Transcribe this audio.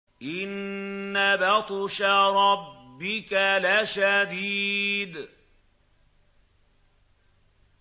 إِنَّ بَطْشَ رَبِّكَ لَشَدِيدٌ